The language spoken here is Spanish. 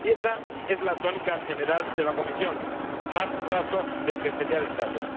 Y esa es la tónica general de la Comisión más retraso del que sería deseable.